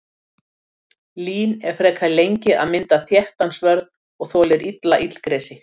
Lín er frekar lengi að mynda þéttan svörð og þolir illa illgresi.